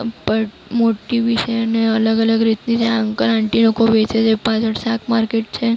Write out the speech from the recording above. ઉપર મૂર્તિ બી છે ને અલગ-અલગ રીતની છે. અંકલ આંટી લોકો વેચે છે. પાછળ શાક માર્કેટ છે.